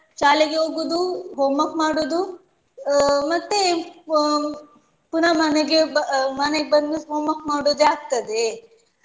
ಶಾಲೆಗೇ ಹೋಗುದು homework ಮಾಡುದು ಅಹ್ ಮತ್ತೆ ಪ್~ ಪುನ ಮನೆಗೆ ಬ~ ಮನೆಗೆ ಬಂದು homework ಮಾಡುದೇ ಆಗ್ತದೆ.